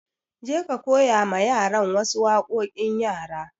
Je ka koya ma yaran wa su waƙoƙin yara!